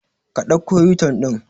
Ƙa ɗauka u-turn din.